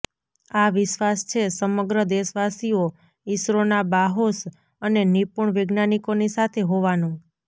આ વિશ્વાસ છે સમગ્ર દેશવાસીઓ ઇસરોના બાહોશ અને નિપૂણ વૈજ્ઞાનિકોની સાથે હોવાનો